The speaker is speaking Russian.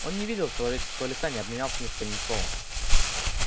он не видел человеческого лица не обменялся ни с кем ни словом